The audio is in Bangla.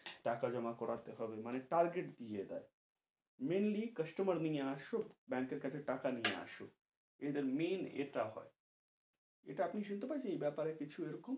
টাকা জমা করাতে হবে, মানে target দিয়ে দেয়, mainly customer কে নিয়ে আসো, ব্যাংকের কাছে টাকা নিয়ে আসো, এদের main ইটা হয়, ইটা আপনি শুনতে পেয়েছেন, এই বেপারে কিছু এরকম,